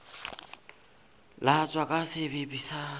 latswa ka sebepi a sa